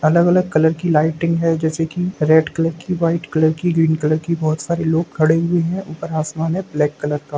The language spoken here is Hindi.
अलग-अलग कलर की लाइटिंग है जैसे कि रेड कलर की व्हाइट कलर की ग्रीन कलर की बहुत सारे लोग खड़े हुए है ऊपर आसमान है ब्लैक कलर का।